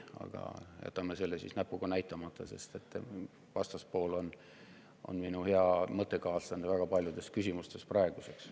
Aga jätame sellele näpuga näitamata, sest vastaspool on praegu minu hea mõttekaaslane väga paljudes küsimustes.